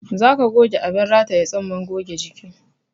Za ka goge abin rataye tsumman goge jiki